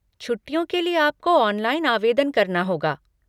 छुट्टियों के लिए आपको ऑनलाइन आवेदन करना होगा।